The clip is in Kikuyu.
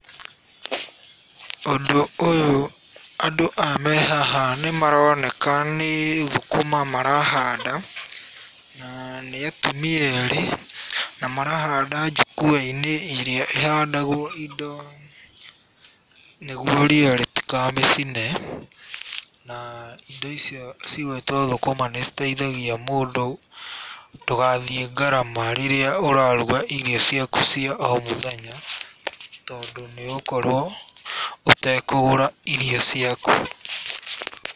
Ũndũ ũyũ, andũ aya me haha nĩ maroneka nĩ thũkũma marahanda na nĩ atumia erĩ na marahanda njukua-inĩ ĩrĩa ĩhandagwo indo, nĩguo ria rĩtĩkamĩcine na indo icio cigwĩtwo thũkũma nĩ citeithagia mũndũ ndũgathiĩ ngarama rĩrĩa ũraruga irio ciaku cia o mũthenya, tondũ nĩ ũgũkorwo ũtekũgũra irio ciaku.